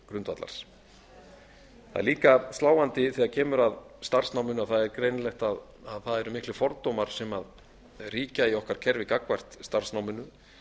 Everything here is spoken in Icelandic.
grundvallar það er líka sláandi þegar kemur að starfsnáminu að það er greinilegt að það eru miklir fordómar sem ríkja í okkar kerfi gagnvart starfsnáminu